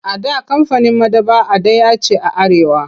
A da kamfanin maɗaba'a ɗaya ce a Arewa.